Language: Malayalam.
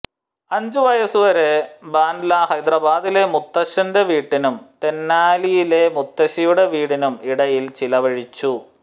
അഞ്ച് വയസ്സുവരെ ബാൻഡ്ല ഹൈദരാബാദിലെ മുത്തച്ഛന്റെ വീടിനും തെനാലിയിലെ മുത്തശ്ശിയുടെ വീടിനും ഇടയിൽ ചിലവഴിച്ചു